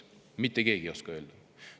Mitte keegi ei oska öelda.